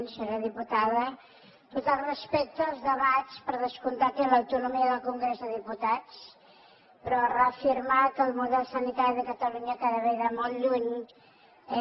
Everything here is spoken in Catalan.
senyora diputada tot el respecte als debats per descomptat i a l’autonomia del congrés de diputats però reafirmar que el model sanitari de catalunya que ara ve de molt lluny eh